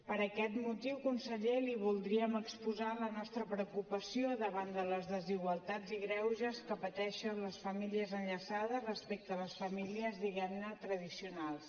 per aquest motiu conseller li voldríem exposar la nostra preocupació davant de les desigualtats i greuges que pateixen les famílies enllaçades respecte a les famílies diguem ne tradicionals